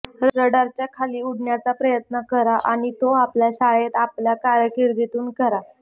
रडारच्या खाली उडण्याचा प्रयत्न करा आणि तो आपल्या शाळेत आपल्या कारकीर्दीतुनच करा